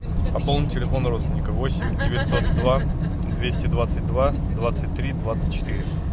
пополни телефон родственника восемь девятьсот два двести двадцать два двадцать три двадцать четыре